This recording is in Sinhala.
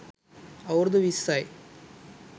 අවුරුදු විස්සයි.